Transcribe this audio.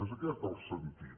és aquest el sentit